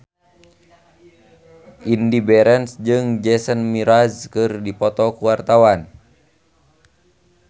Indy Barens jeung Jason Mraz keur dipoto ku wartawan